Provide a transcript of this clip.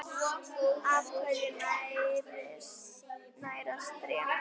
Á hverju nærast tré?